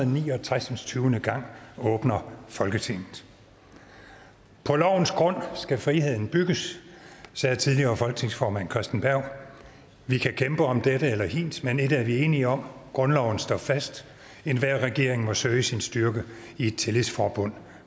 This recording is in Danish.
og ni og tres gang åbner folketinget på lovens grund skal friheden bygges sagde tidligere folketingsformand christen berg vi kan kæmpe om dette eller hint men ét er vi enige om grundloven står fast enhver regering må søge sin styrke i et tillidsforbund